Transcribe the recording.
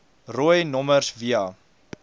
rooi nommers via